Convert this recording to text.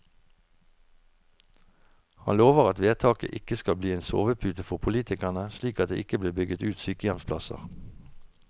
Han lover at vedtaket ikke skal bli en sovepute for politikerne, slik at det ikke blir bygget ut sykehjemsplasser.